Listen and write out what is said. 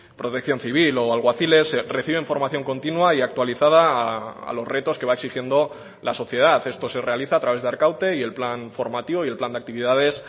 protección civil o alguaciles reciben formación continua y actualizada a los retos que va exigiendo la sociedad esto se realiza a través de arkaute y el plan formativo y el plan de actividades